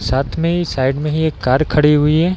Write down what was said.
साथ में ही साइड में ही एक कार खड़ी हुई है।